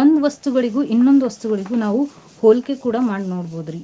ಒಂದ್ ವಸ್ತುಗಳಿಗೂ ಇನ್ನೊಂದ್ ವಸ್ತುಗಳಿಗೂ ನಾವು ಹೋಲಿಕೆ ಕೂಡಾ ಮಾಡಿ ನೋಡ್ಬೋದ್ರಿ.